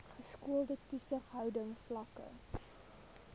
geskoolde toesighouding vlakke